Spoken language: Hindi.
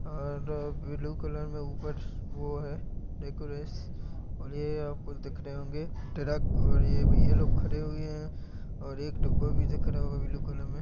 आर ब्लू कलर मे ऊपर वो हैं डेकोरेश और ये कुछ दिख रहे होंगे ट्रक और ये भैया लोग खड़े हुए हैंऔर एक डब्बा भी दिख रहा हैं ब्लू कलर मे--